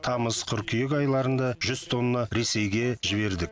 тамыз қыркүйек айларында жүз тонна ресейге жібердік